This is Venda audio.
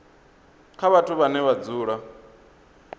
kha vhathu vhane vha dzula